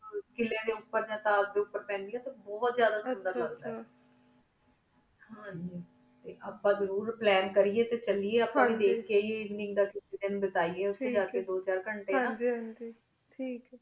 ਕਿਏਯਾਂ ਡੀ ਉਪਰ ਯਾ ਤਾਜ੍ਡੀ ਉਪਰ ਪੰਦੇਯਾਂ ਟੀ ਬੁਹਤ ਹਨ ਜੀ ਹਾਂਜੀ ਆਇਕ ਆਪਣਾ ਜ਼ਰੁਰ ਪਲੈਨ ਕੇਰੀ ਟੀ ਚਲੀ ਹਨ ਜੀ ਧ੍ਖ ਕੀ ਆਈ ਕੀ ਬਤੀ ਦੋ ਚਾਰ ਘੰਟੀ ਹਨ ਜੀ